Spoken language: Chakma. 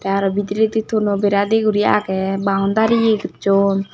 tey aro bidiredi tonno bera di guri aage boundry ye gojon.